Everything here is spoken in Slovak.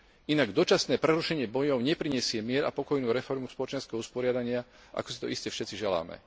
Inak dočasné prerušenie bojov neprinesie mier a pokojnú reformu spoločenského usporiadania, ako si to iste všetci želáme.